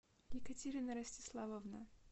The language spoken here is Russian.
екатерина ростиславовна